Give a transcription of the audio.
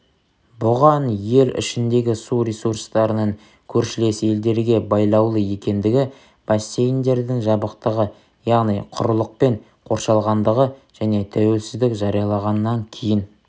бұған ел ішіндегі су ресурстарының көршілес елдерге байлаулы екендігі бассейндердің жабықтығы яғни құрылықпен қоршалғандығы және тәуелсіздік жарияланғаннан кейін